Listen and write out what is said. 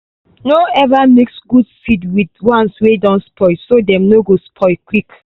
no ever mix good seed with the ones wey don spoil so dem no go spoil quick.